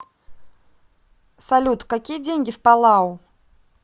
салют какие деньги в палау